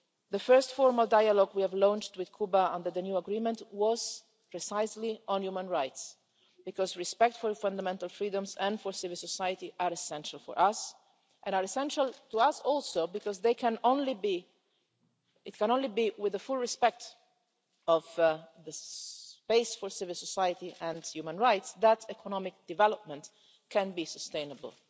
The first formal dialogue we launched with Cuba under the new agreement was precisely on human rights, because respect for fundamental freedoms and for civil society is essential for us and is essential to us also because it can only be with the full respect of the space for civil society and human rights that economic development can be sustainable.